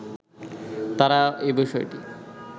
তারা এ বিষয়টি